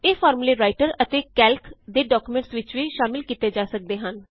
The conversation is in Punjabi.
ਇਹ ਫਾਰਮੂਲੇ ਰਾਇਟਰ ਅਤੇ ਕੈਲਕ ਦੇ ਡੌਕਯੂਮੈਂਟਸ ਵਿੱਚ ਵੀ ਸ਼ਾਮਲ ਕੀਤੇ ਜਾ ਸਕਦੇ ਹਨ